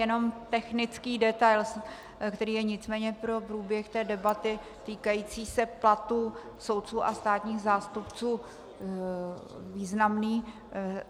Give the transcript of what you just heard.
Jenom technický detail, který je nicméně pro průběh té debaty týkající se platů soudců a státních zástupců významný.